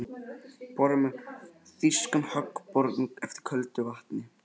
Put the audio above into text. Borað með þýskum höggbor eftir köldu vatni í